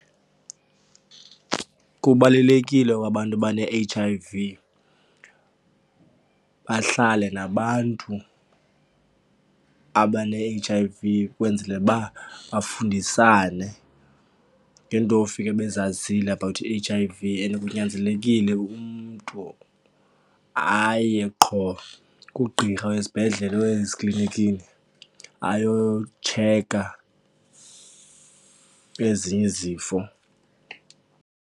Kubalulekile kwabantu abane-H_I_V bahlale nabantu abane-H_I_V kwenzele uba bafundisane ngeento ofike bezazile about i-H_I_V and kunyanzelekile umntu aye qho kugqirha wezibhedlele or eziklinikini ayotsheka ezinye izifo.